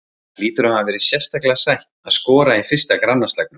Það hlýtur að hafa verið sérstaklega sætt að skora í fyrsta grannaslagnum?